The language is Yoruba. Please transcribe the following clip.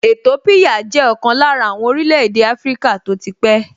Ètópíyà jẹ́ ọ̀kan lára àwọn orílẹ̀-èdè áfríkà tó ti pẹ́